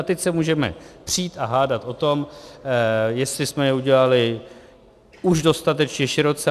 A teď se můžeme přít a hádat o tom, jestli jsme je udělali už dostatečně široce.